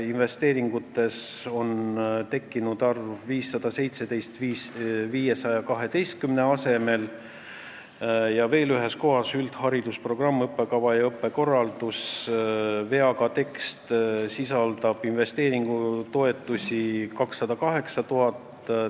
Investeeringute alla on 512 asemele tekkinud arv 517 ja veel ühes kohas, pealkirja "Üldharidusprogramm " all olevas tekstis on investeeringutoetused 208 000 eurot.